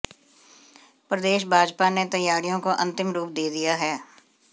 प्रदेश भाजपा ने तैयारियों को अंतिम रूप दे दिया है